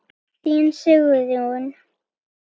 Þín, Sigrún.